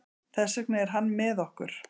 Þess vegna er hann með okkur.